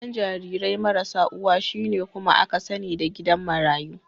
Gidan jarirai marasa uwa, shine kuma aka sani da gidan marayu.